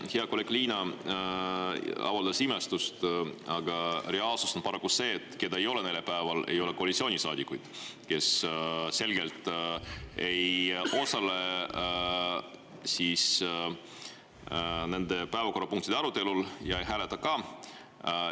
Hea kolleeg Liina avaldas imestust, aga reaalsus on paraku see, et neljapäeval ei ole kohal koalitsioonisaadikuid, kes selgelt ei osale nende päevakorrapunktide arutelul ega hääleta ka.